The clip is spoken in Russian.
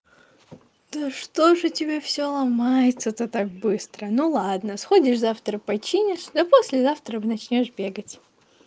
да что же у тебя всё ломается то так быстро ну ладно сходишь завтра починишь да послезавтра начнёшь бегать